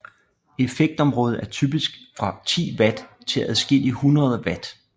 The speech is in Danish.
Effektområdet er typisk fra 10 watt til adskillige hundreder watt